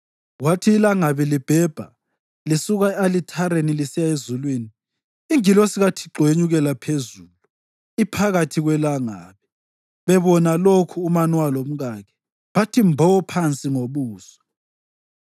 Kwathi ilangabi libhebha lisuka e-alithareni lisiya ezulwini, ingilosi kaThixo yenyukela phezulu iphakathi kwelangabi. Bebona lokhu uManowa lomkakhe bathi mbo phansi ngobuso.